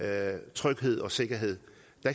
er tryghed og sikkerhed